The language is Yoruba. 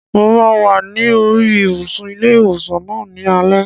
Mo máa wà ní oríi ibùsùn ilé ìwòsàn náà ní alẹ́